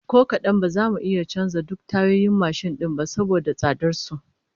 Ko kadan, ba za mu iya canza duk tayoyin mashin din ba saboda tsadar su